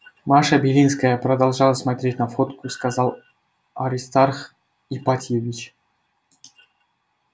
маша белинская продолжала смотреть на фотку сказал аристарх ипатьевич